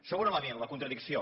segon element la contradicció